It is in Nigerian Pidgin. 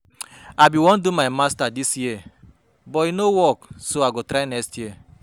I bin wan do my masters dis year but e no work so I go try next year